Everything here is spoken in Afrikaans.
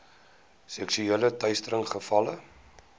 seksuele teistering gevalle